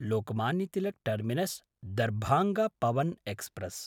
Lokmanya Tilak टर्मिनस्–दर्भाङ्ग Pawan express